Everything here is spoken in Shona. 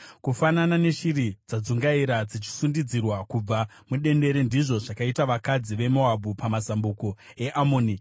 Kufanana neshiri dzadzungaira dzichisundidzirwa kubva mudendere, ndizvo zvakaita vakadzi veMoabhu pamazambuko eAmoni.